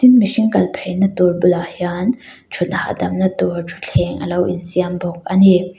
tin mihring kal phei na tur bul ah hian thut hah dam na tur thuthleng alo insiam bawk ani.